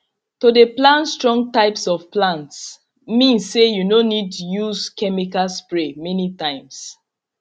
to dey plan strong type of plants mean say you no need use chemical spray many times